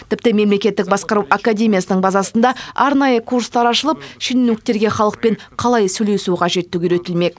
тіпті мемлекеттік басқару академиясының базасында арнайы курстар ашылып шенеуніктерге халықпен қалай сөйлесу қажеттігі үйретілмек